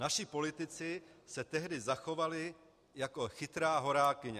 Naši politici se tehdy zachovali jako chytrá horákyně.